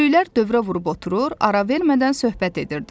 Böyüklər dövrə vurub oturur, ara vermədən söhbət edirdilər.